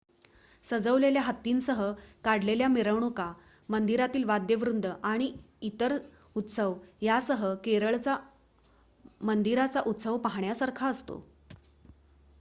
सजवलेल्या हत्तींसह काढलेल्या मिरवणुका मंदिरातील वाद्यवृंद आणि इतर उत्सव यांसह केरळचा मंदिरांचा उत्सव पाहण्यासारखा असतो